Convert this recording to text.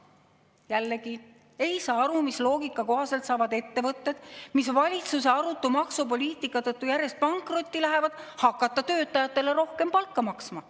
Jällegi ei saa aru, mis loogika kohaselt saavad ettevõtted, mis valitsuse arutu maksupoliitika tõttu järjest pankrotti lähevad, hakata töötajatele rohkem palka maksma.